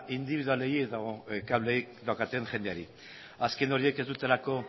indibidualei edo kablea daukaten jendeari azken horiek ez dutelako